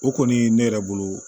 O kɔni ne yɛrɛ bolo